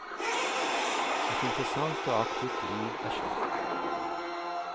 Et interessant og aktivt liv er slutt.